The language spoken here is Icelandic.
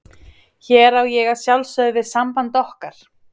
Hér á ég að sjálfsögðu við samband okkar.